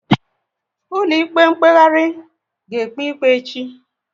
Ụlọ ikpe mkpeghari a ga ekpe ikpe echi?